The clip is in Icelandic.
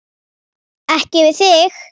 Ekki við þig.